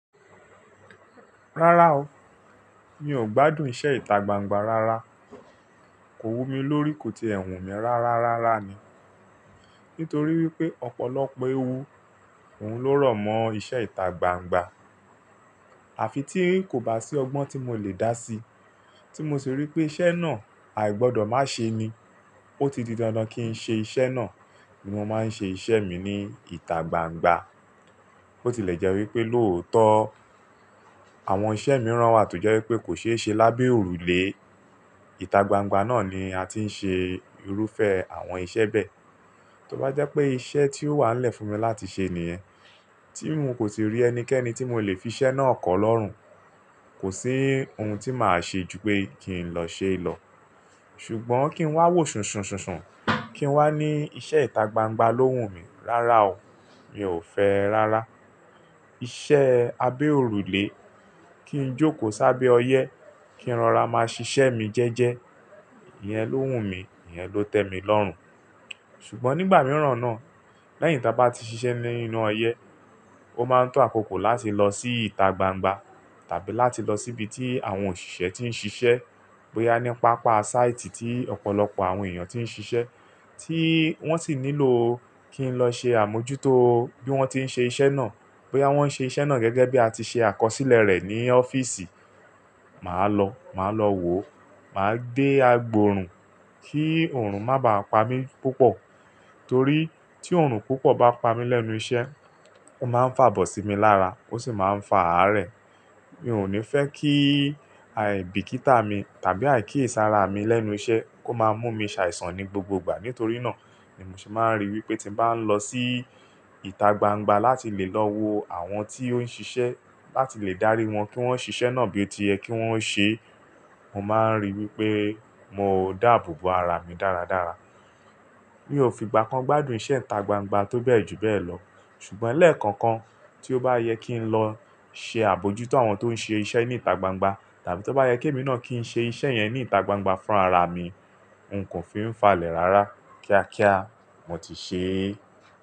Rárá o, mi ò gbádùn iṣẹ́ ìta gbangba rárá. Kò wumi lórí, kò ti ẹ̀ hùn mi rárá rárá ni. Nítorí wípé ọ̀pọ̀lọpọ̀ ewu òun ló rọ̀mọ́ iṣẹ́ ìta gbangba. Àfi tí kò bá sí ọgbọ́n tí mo lè dá sí, tí mo sì rí pé iṣẹ́ náà àì gbọdọ̀ má ṣe ni, ó ti di dandan kí n ṣe iṣẹ́ náà. Ni mo máa ń ṣe iṣẹ́ mi ní ìta gbangba. Ó ti lè jẹ́ wípé lóòótọ́ àwọn iṣẹ́ mìíràn wà tó jẹ́ wípé kò ṣe é ṣe lábẹ́ òrùlé. Ìta gbangba náà ni a ti ń ṣe irúfẹ́ àwọn iṣẹ́ bẹ́ẹ̀. Tó bá jẹ́ pé iṣẹ́ tí ó wà n lẹ̀ fún mi láti ṣe nìyẹn, tí n kò síì rí ẹnikẹ́ni tí mo lè fi iṣẹ́ náà kọ́ lọ́rùn, kò sí ohun tí màá ṣe ju pé kí n lọ ṣe lọ. Ṣùgbọ́n kí n wá wò ṣùnsùnsùnsùn, kí n wá ní iṣẹ́ ìta gbangba ló wù mí. Rárá o, mi ò fẹ́ rárá. Iṣẹ́ abẹ́ òrùlé, kí n jókòó sábẹ́ ọyẹ́, kí n rọra máa ṣiṣẹ́ mi jẹ́ẹ́jẹ́, ìyẹn ló wù mí, ìyẹn ló tẹ́ mi lọ́rùn. Ṣùgbọ́n nígbà mìíràn náà, lẹ́yìn táa bá ti ṣiṣẹ́ nínú ọyẹ́, ó máa ń tọ́ àkókò láti lọ sí ìta gbangba tàbí láti lọ síbi tí àwọn òṣìṣẹ́ tí ń ṣiṣẹ́. Bóyá ní pápá sáìtì tí ọ̀pọ̀lọpọ̀ àwọn èèyàn tí ń ṣiṣẹ́ tí wọ́n sì nílò kí n lọ ṣe àmójútó bí wọ́n tí ń ṣe iṣẹ́ náà. Bóyá wọ́n ń ṣe iṣẹ́ náà gẹ́gẹ́ bí a ti ṣe àkọsílẹ̀ rẹ̀ ní ọ́fíìsì. Màá lọ, màá lọ wò, màá gbé agbòòrùn kí oòrùn má bàá pa mí púpọ̀. Torí tí oòrùn púpọ̀ bá pa mí lẹ́nu iṣẹ́, ó máa ń fàbọ̀ sí mi lára, ó sì máa ń fà á rẹ̀. Mi ò ní fẹ́ kí àìbìkítà mi tàbí àìkíyèsára mi lẹ́nu iṣẹ́ kó máa mú mi ṣàìsàn ní gbogbo ìgbà. Nítorí náà ni mo se máa ń ríi wípé tí bá ń lọ sí ìta gbangba láti lè lọ wo àwọn tí ó ń ṣiṣẹ́ láti lè dárí wọn kí wọ́n ṣiṣẹ́ náà bíi oti yẹ kí wọ́n ṣe, mo máa ń ríi wípé mo dáàbò bo ara mi dáradára. Mi ò fi ìgbà kan gbádùn iṣẹ́ ìta gbangba tó bẹ́ẹ̀ jù bẹ́ẹ̀ lọ. Ṣùgbọ́n lẹ́ẹ̀ko kan tí ó bá yẹ kí n lọ ṣe àbójútó àwọn tó ń ṣe iṣẹ́ ní ìta gbangba tàbí tó bá yẹ kí èmi náà kí n ṣe iṣẹ́ yẹn ní ìta gbangba fún ara mi, n kò fi ń falẹ̀ rárá kíá kíá mo ti ṣe é.